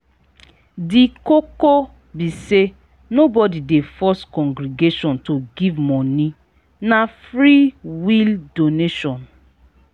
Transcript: di koko be sey nobody dey force congregation to give moni na free-will donation